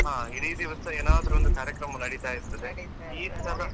ಹಾ ಇಡೀ ದಿವಸ ಏನಾದ್ರು ಒಂದು ಕಾರ್ಯಕ್ರಮ ನಡೀತಾ ಇರ್ತದೆ .